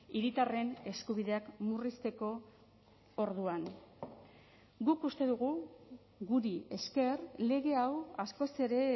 hiritarren eskubideak murrizteko orduan guk uste dugu guri esker lege hau askoz ere